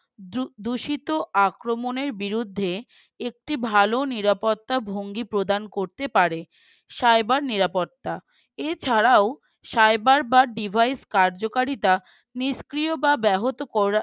দু দূষিত আক্রমণের বিরুদ্ধে একটি ভালো নিরাপত্তা ভঙ্গি প্রদান করতে পারে Cyber নিরাপত্তা। এছাড়াও cyber বা device কার্যকারিতা নিষ্ক্রিয় বা ব্যাহত করা